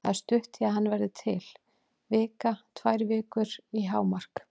Það er stutt í að hann verði til, vika, tvær vikur hámark.